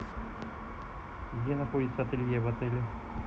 где находится ателье в отеле